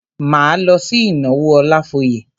Máa lọ sí ìnáwó Ọlafóyè.